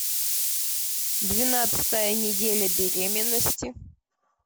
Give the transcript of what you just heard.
двенадцатая неделя беременности